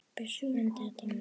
Bjössi frændi er dáinn.